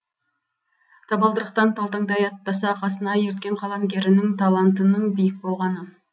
табалдырықтан талтаңдай аттаса қасына ерткен қаламгерінің талантының биік болғаны